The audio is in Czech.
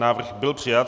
Návrh byl přijat.